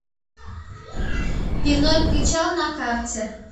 пивной причал на карте